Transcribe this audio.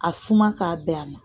A suma k'a bɛn a ma